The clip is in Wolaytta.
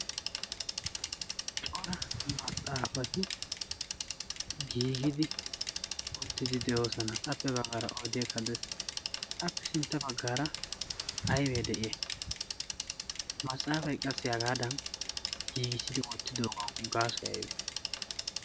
cora maxaafati giigidi ottidi de'oosana. appe baggaara oodiye kadde appe sintta baggaara aybee de'iye masaafay qassi hagaadan giigissidi oottidoogawu gaasoy aybe